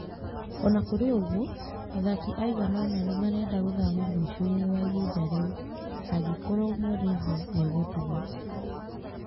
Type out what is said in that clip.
O na kũrĩ ũguo, athaki aigana ũna nĩ marenda gũthama mũico-inĩ wa ihinda rĩu. Angĩkorũo Mourinho nĩ egũtigwo.